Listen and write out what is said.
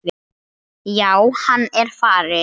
Já, hann er farinn